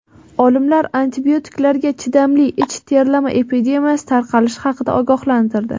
Olimlar antibiotiklarga chidamli ich terlama epidemiyasi tarqalishi haqida ogohlantirdi.